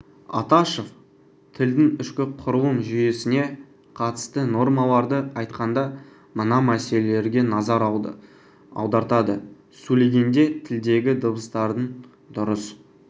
аташев тілдің ішкі құрылым жүйесіне қатысты нормаларды айтқанда мына мәселелерге назар аудартады сөйлегенде тілдегі дыбыстардың дұрыс